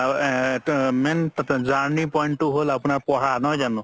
আ main journey point তো হ'ল পঢ়া নহয় জানো